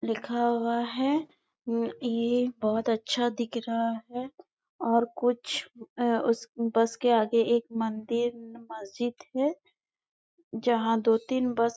लिखा हुआ है ये बहोत अच्छा दिख रहा है और कुछ उस बस के आगे एक मंदिर मस्जिद है जहाँ दो तीन बस --